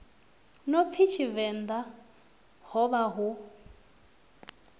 no pfi tshivenḓa hovha hu